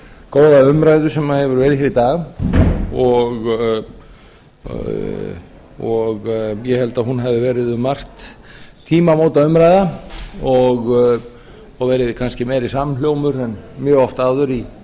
góða ræðu sem hefur verið hér í dag og ég held að hún hafi verið um margt tímamótaumræða og verið kannski meiri samhljómur en mjög oft áður